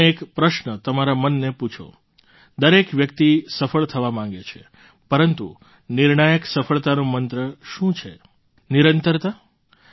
તમે એક પ્રશ્ન તમારા મનને પૂછો દરેક વ્યક્તિ સફળ થવા માગે છે પરંતુ નિર્ણાયક સફળતાનો મંત્ર શું છે નિરંતરતા